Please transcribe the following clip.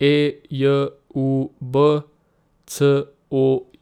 E J U B, C O.